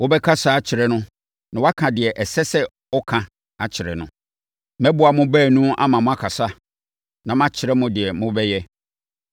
Wobɛkasa akyerɛ no na woaka deɛ ɛsɛ sɛ ɔka akyerɛ no. Mɛboa mo baanu ama moakasa, na makyerɛ mo deɛ mobɛyɛ.